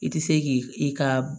I tɛ se k'i i ka